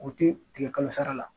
U tɛ tigɛ kalosara la.